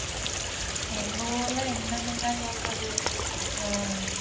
எங்க ஊர்ல என்னன்னுங்க சொல்றது ஹம்